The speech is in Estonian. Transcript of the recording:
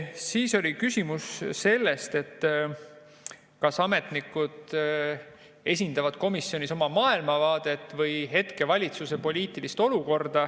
Siis oli küsimus, kas ametnikud esindavad komisjonis oma maailmavaadet või hetkevalitsuse poliitikat.